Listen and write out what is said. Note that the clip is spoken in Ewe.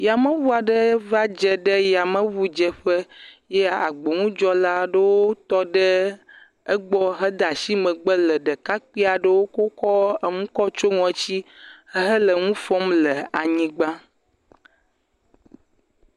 Yameŋu aɖe va dze ɖe yameŋudzeƒe ye agboŋudzɔla aɖewo tɔ ɖe egbɔ hede asi megbe le ɖekakpui aɖewo kokɔ kokɔ nu tsiɔ ŋɔti hele nu fɔm le anyigba.